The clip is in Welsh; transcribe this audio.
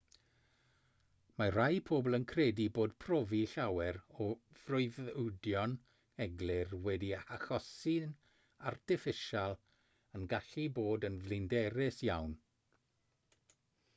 mae rhai pobl yn credu bod profi llawer o freuddwydion eglur wedi'u hachosi'n artiffisial yn gallu bod yn flinderus iawn